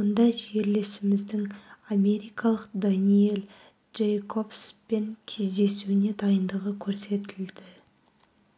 онда жерлесіміздің америкалық дэниэл джейкобспен кездесуіне дайындығы көрсетілді